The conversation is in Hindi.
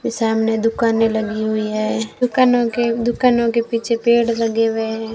सामने दुकाने लगी हुई है। दुकानों के दुकानों के पीछे पेड़ लगे हुए हैं।